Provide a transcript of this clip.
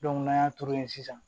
n'an y'a turu yen sisan